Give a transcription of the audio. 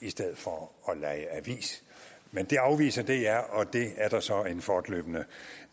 i stedet for at lege avis men det afviser dr og det er der så en fortløbende